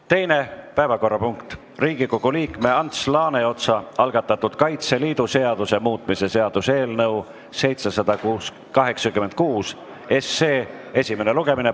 Teine päevakorrapunkt on Riigikogu liikme Ants Laaneotsa algatatud Kaitseliidu seaduse muutmise seaduse eelnõu 786 esimene lugemine.